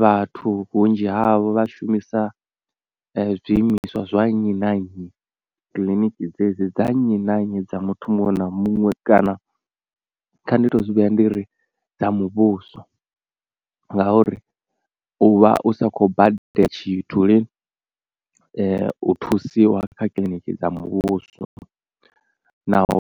Vhathu vhunzhi havho vha shumisa zwiimiswa zwa nnyi na nnyi kiḽiniki dzedzi dza nnyi na nnyi dza muthu muṅwe na muṅwe kana kha ndi to zwi vhea ndi ri dza muvhuso ngauri u vha u sa kho badela tshithu lini u thusiwa kha kiḽiniki dza muvhuso. Naho